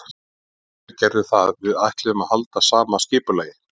Já þeir gerðu það, við ætluðum að halda sama skipulagi.